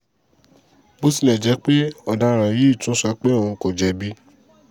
bó tilẹ̀ jẹ́ pé ọ̀daràn yìí tún sọ pé òun kò jẹ̀bi